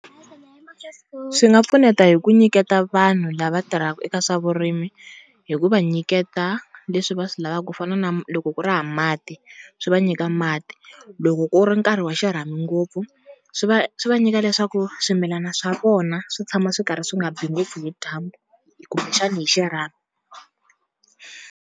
Swi nga pfuneta hi ku nyiketa vanhu lava tirhaka eka swa vurimi, hi ku va nyiketa leswi va swi lavaka ku fana na loko ku ri hava mati swi va nyika mati. Loko ku ri nkarhi wa xirhami ngopfu swi va swi va nyika leswaku swimilana swa vona swi tshama swi karhi swi nga biwi ngopfu hi dyambu kumbexana hi xirhami.